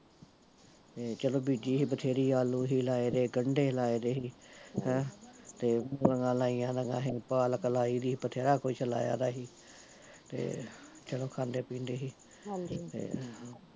ਤੇ ਚਲੋ ਬੀਜੀ ਸੀ ਵਧੇਰੀ ਆਲੂ ਸੀ ਲਾਏ ਤੇ ਗੰਡੇ ਲਾਏ ਦੇ ਸੀ, ਹੈਂ, ਤੇ ਮਗਾ ਲਾਈ ਦੀਆਂ ਸੀ, ਪਾਲਕ ਲਾਈ ਸੀ ਵਧੇਰਾ ਕੁਸ਼ ਲਈਦਾ ਸੀ ਤੇ, ਚਲੋ ਖਾਂਦੇ ਪੀਂਦੇ ਸੀ, ਤੇ